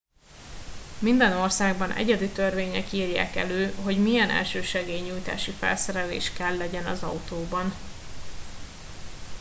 minden országban egyedi törvények írják elő hogy milyen elsősegély nyújtási felszerelés kell legyen az autóban